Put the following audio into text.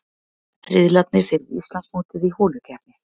Riðlarnir fyrir Íslandsmótið í holukeppni